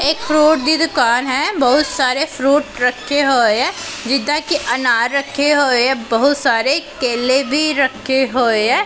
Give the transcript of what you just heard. ਇਕ ਫਰੂਟ ਦੀ ਦੁਕਾਨ ਹੈ ਬਹੁਤ ਸਾਰੇ ਫਰੂਟ ਰੱਖੇ ਹੋਏ ਐ ਜਿਦਾਂ ਕਿ ਅਨਾਰ ਰੱਖੇ ਹੋਏ ਬਹੁਤ ਸਾਰੇ ਕੇਲੇ ਵੀ ਰੱਖੇ ਹੋਏ ਐ।